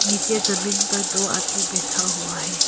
नीचे जमीन पर दो आदमी बैठा हुआ है।